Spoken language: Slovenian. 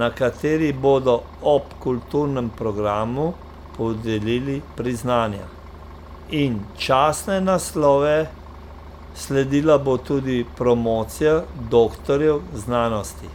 na kateri bodo ob kulturnem programu podelili priznanja in častne naslove, sledila bo tudi promocija doktorjev znanosti.